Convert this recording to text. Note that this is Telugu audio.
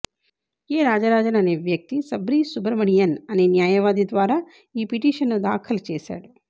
ఏ రాజరాజన్ అనే వ్యక్తి సబ్రీష్ సుబ్రమణియన్ అనే న్యాయవాది ద్వారా ఈ పిటీషన్ను దాఖలు చేశాడు